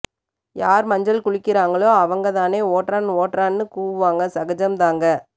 யார் மஞ்சள் குளிக்கிறாங்களோ அவங்கதானே ஓட்றான் ஓட்றான் னு கூவுவாங்க சகஜம்தாங்க